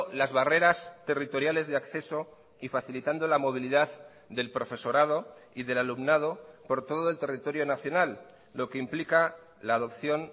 las barreras territoriales de acceso y facilitando la movilidad del profesorado y del alumnado por todo el territorio nacional lo que implica la adopción